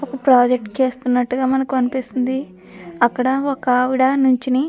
Project చేస్తున్నట్టుగా మనకు అనిపిస్తుంది. అక్కడ ఒకప్రాజెక్ట్ చేస్తున్నట్టుగా మనకు అనిపిస్తుంది. అక్కడ ఒక ఆవిడ--